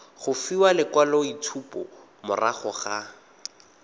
go fiwa lekwaloitshupo morago ga